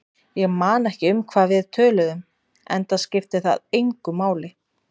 Ég man ekki um hvað við töluðum, enda skipti það engu máli.